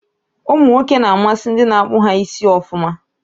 Umụ nwoke n'amasị ndị n'akpu ha isi ọfụma